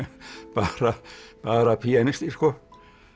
bara píanisti sko